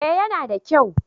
eh ya na da kyau